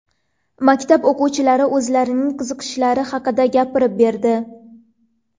Maktab o‘quvchilari o‘zlarining qiziqishlari haqida gapirib berdi.